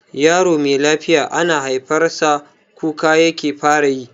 Yaro me lafiya ana haifar sa kuka yake fara yi.